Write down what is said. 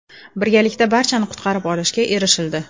Birgalikda barchani qutqarib olishga erishildi.